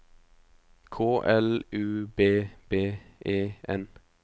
K L U B B E N